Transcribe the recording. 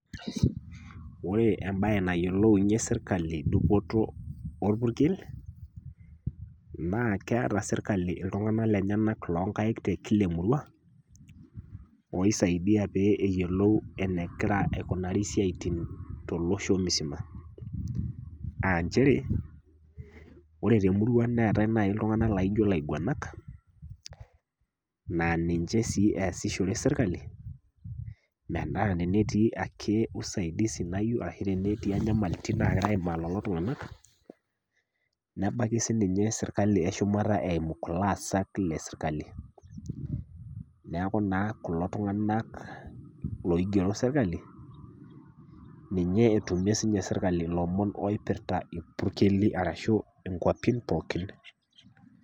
Ore embae nayiolounye serkali dupoto orpurkel , naa keata serkali iltung'ana lenyenak kumok tiatua kila emurua oisaidie lee eyiolou enegira aikunari isiaitin to losho misima. Nchere, ore te emurua neatai naaji iltung'ana loijo ilaigwanaak, naa ninche sii easishore serkali, metaa etii ake usaidizi nayiou ashu netii ake inyamaliritin nagira aimaa lelo tung'anak , nebaiki sininye serkali e shumata eimu kulo aasak le serkali. Neaku naa kulo tung'ana loigero serkali ninye etumie sii ninye serkali ilomon oipirita ilpurkeli ashu inkwapi pookin.